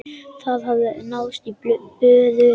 Það hafði náðst í böðul.